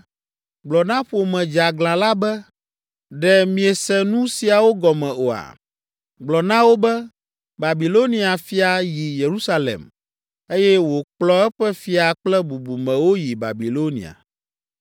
“Gblɔ na ƒome dzeaglã la be, ‘Ɖe miese nu siawo gɔme oa?’ Gblɔ na wo be, ‘Babilonia fia yi Yerusalem, eye wòkplɔ eƒe fia kple bubumewo yi Babilonia.